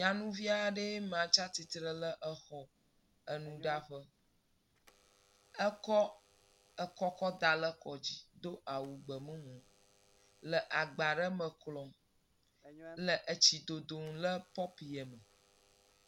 Nyɔnuvi aɖe maa tsia tsitre ɖe xexe enuɖaƒe. Èkɔ ekɔ kɔ ɖa ɖe ekɔ dzi do awu gbemumu le agba ɖe me klɔ, le etsi dodom le pɔpie me.